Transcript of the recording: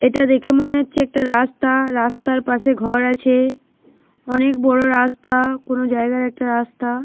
এটা দেখে মনে হচ্ছে একটা রাস্তা। রাস্তার পাশে ঘর আছে। অনেক বড় রাস্তা। কোন জায়গায় একটা রাস্তা।